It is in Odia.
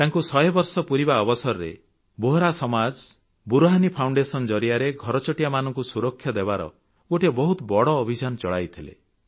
ତାଙ୍କୁ ଶହେ ବର୍ଷ ପୁରିବା ଅବସରରେ ବୋହରା ସମାଜ ବୁରହାନି ଫାଉଣ୍ଡେସନ୍ ଜରିଆରେ ଘରଚଟିଆମାନଙ୍କୁ ସୁରକ୍ଷା ଦେବାର ଗୋଟିଏ ବହୁତ ବଡ଼ ଅଭିଯାନ ଚଳାଇଥିଲେ